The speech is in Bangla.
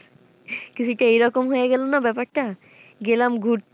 কিছুটা এরকম হয়ে গেল না ব্যাপার টা গেলাম ঘুরতে।